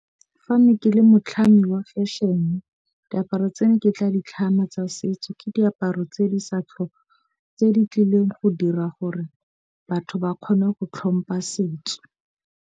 Fa ne ke le motlhami wa fashion diaparo tse ne ke tla ditlhama tsa setso ke diaparo tse di sa tse di tlileng go dira gore batho ba kgone go tlhompha setso.